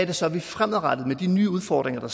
det så er vi fremadrettet med de nye udfordringer der